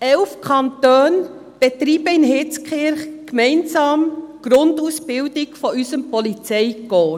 Elf Kantone betreiben in Hitzkirch gemeinsam die Grundausbildung unseres Polizeikorps.